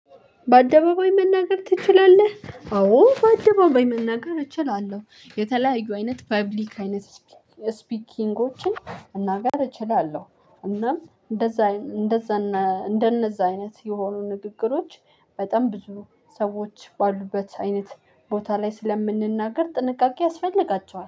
በአደባባይ መናገር ትችላለህ? አዎ በአደባባይ መናገር እችላለሁ የተለያዩ አይነት ፐብሊክ አይነት ስፒኪንጎችን መናገር እችላለሁ። እናም እንደዛ እንደዛ እንደነዛ አይነት የሆኑ ንግግሮች በጣም ብዙ ሰዎች ባሉበት አይነት ቦታ ላይ ስለምንናገር ጥንቃቄ ያስፈልጋቸዋል